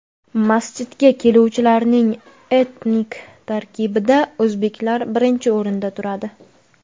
Masjidga keluvchilarning etnik tarkibida o‘zbeklar birinchi o‘rinda turadi.